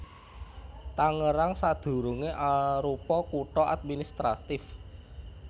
Tangerang sadurungé arupa kutha administratif